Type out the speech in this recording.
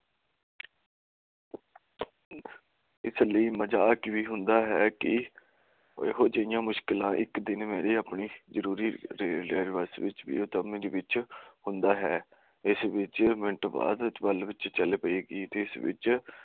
ਇਸ ਲਈ ਮਜਾਕ ਵੀ ਹੁੰਦਾ ਹੈ ਕਿ ਓਏ ਹੋਏ ਜਿੰਨੀਆਂ ਮੁਸ਼ਕਿਲਾਂ ਇਕ ਦਿਨ ਮੇਰੇ ਆਪਣੇ ਜਰੂਰੀ ਟਾਵੇ ਦੇ ਵਿੱਚ ਹੁੰਦਾ ਹੈ ਇਸਤੋਂ ਇਕ ਮਿੰਟ ਬਾਅਦ ਗੱਲ ਚੱਲ ਪਾਈ